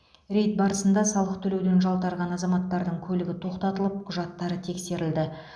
рейд барысында салық төлеуден жалтарған азаматтардың көлігі тоқтатылып құжаттары тексерілді